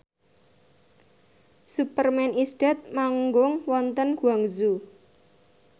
Superman is Dead manggung wonten Guangzhou